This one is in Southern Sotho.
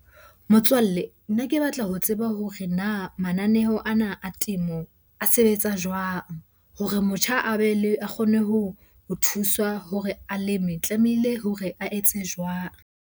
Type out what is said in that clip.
Motswalle, nna ke batla ho tseba hore na mananeho ana a temo a sebetsa jwang? Hore motjha a be le, a kgone ho thuswa hore a leme tlamehile hore a etse jwang?